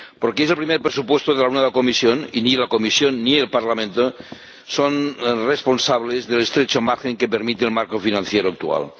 porque es el primer presupuesto de la nueva Comisión, y ni la Comisión ni el Parlamento son responsables del estrecho margen que permite el marco financiero actual.